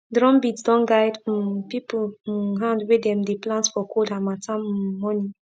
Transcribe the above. drum beat don guide um people um hand when dem dey plant for cold harmattan um morning